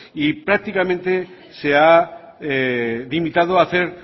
y prácticamente se ha limitado a hacer